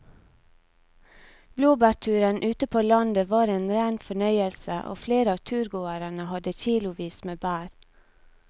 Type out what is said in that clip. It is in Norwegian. Blåbærturen ute på landet var en rein fornøyelse og flere av turgåerene hadde kilosvis med bær.